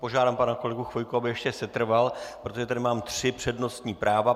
Požádám pana kolegu Chvojku, aby ještě setrval, protože tady mám tři přednostní práva.